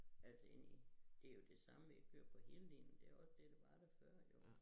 Altså ind i det jo det samme vi har kørt på hele ledningen det var også det der var der før jo